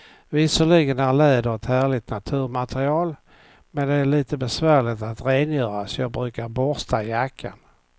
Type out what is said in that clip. Visserligen är läder ett härligt naturmaterial, men det är lite besvärligt att rengöra, så jag brukar borsta jackan.